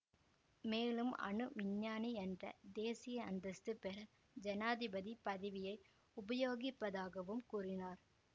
மேலும் அணு விஞ்ஞானி என்ற தேசிய அந்தஸ்து பெற ஜனாதிபதி பதவியை உபயோகிப்பதாகவும் கூறினார்